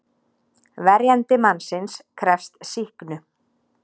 Verjandi mannsins krefst sýknu.